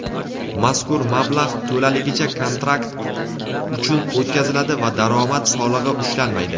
mazkur mablag‘ to‘laligicha kontrakt uchun o‘tkaziladi va daromad solig‘i ushlanmaydi.